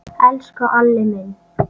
Elsku Alli minn.